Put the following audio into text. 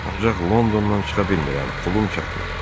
Ancaq Londondan çıxa bilmirəm, pulum çatmır.